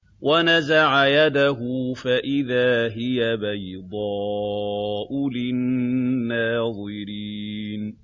وَنَزَعَ يَدَهُ فَإِذَا هِيَ بَيْضَاءُ لِلنَّاظِرِينَ